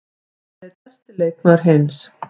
Hann er einn besti leikmaður heims.